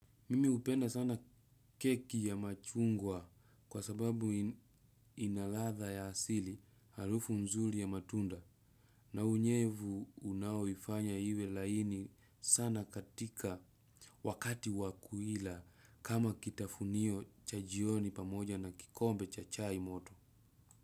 Mimi hupenda sana keki ya machungwa kwa sababu inaladha ya asili harufu mzuri ya matunda na unyevu unaoifanya iwe laini sana katika wakati wakuila kama kitafunio cha jioni pamoja na kikombe cha chaimoto.